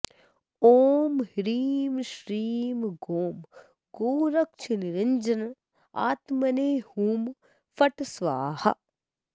ॐ ह्रीं श्रीं गों गोरक्षनिरञ्जनात्मने हुँ फट् स्वाहा